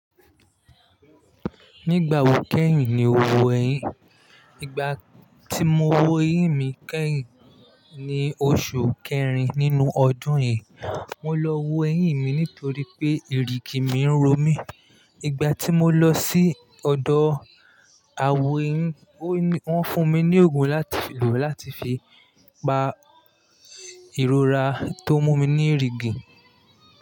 Nígbà wo kẹ́yìn ni o wo ẹyín? Igba tí mo wo eyín mi kẹ́yìn ni oṣù kẹrin nínú ọdún yìí. Mo lọ wo eyín mi nítorí pé ìrìgì mi ń ro mí. Igbà tí mo lọ sí ọ̀dọ̀ awo eyín, wọ́n fún mi ní òògùn láti lò láti fi pa ìrora tó mú mi ní ìrìgì.